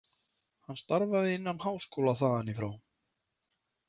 Hann starfaði innan háskóla þaðan í frá.